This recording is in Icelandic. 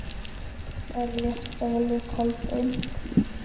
Er rétt að velja Kolbein?